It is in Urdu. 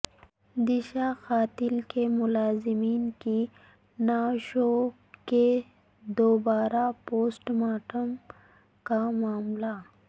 دشا قتل کے ملزمین کی نعشوں کے دوبارہ پوسٹ مارٹم کا معاملہ